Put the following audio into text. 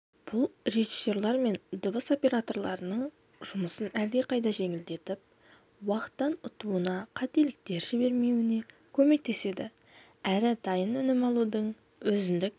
бұл режиссерлер мен дыбыс операторларының жұмысын әлдеқайда жеңілдетіп уақыттан ұтуына қателіктер жібермеуіне көмектеседі әрі дайын өнім алудың өзіндік